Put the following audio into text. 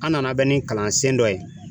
An nana bɛn ni kalansen dɔ ye.